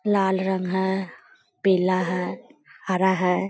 लाल रंग है पीला है हरा है।